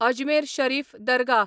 Ajmer Sharif Dargah